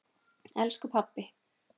Elsku pabbi.